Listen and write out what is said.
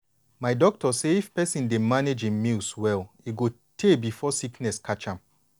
my doctor say if persin dey manage hin meals well e go tey before sickness catch am.